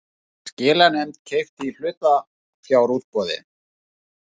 Skilanefnd keypti í hlutafjárútboði